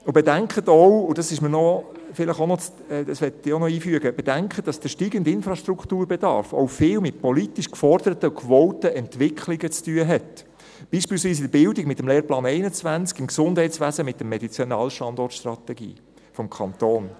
Bedenken Sie auch – und dies möchte ich auch noch einfügen –, dass der steigende Infrastrukturbedarf ebenfalls viel mit politisch geforderten und gewollten Entwicklungen zu tun hat, beispielsweise in der Bildung mit dem Lehrplan 21, im Gesundheitswesen mit der Medizinalstandortstrategie des Kantons.